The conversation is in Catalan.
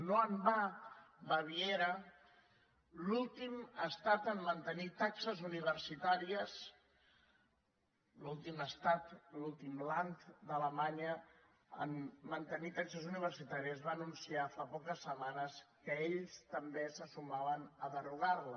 no en va baviera l’últim estat a mantenir taxes universitàries l’últim estat l’últim land d’alemanya a mantenir taxes universitàries va anunciar fa poques setmanes que ells també se sumaven a derogar les